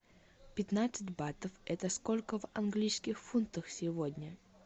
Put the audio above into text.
пятнадцать батов это сколько в английских фунтах сегодня